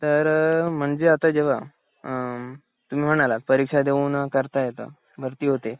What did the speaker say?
तर म्हणजे आता जेव्हा अ तुम्ही म्हणालात परीक्षा देऊन करता येत भरती होते